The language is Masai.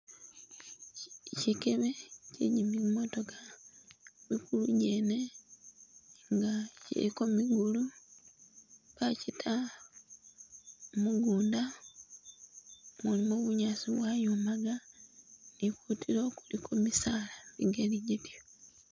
Shi Shikebe kye gyimimotooka mukulu gyene nga kyiliko migulu bakyita mugunda mulimo bunyaasi bwayomaga ni kutulo kuliko misaala migali gyityo